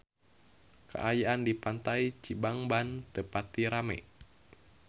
Kaayaan di Pantai Cibangban teu pati rame